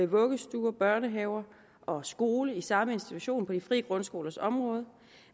vuggestuer børnehaver og skoler i samme institution på de frie grundskolers område